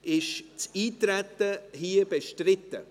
Ist das Eintreten bestritten?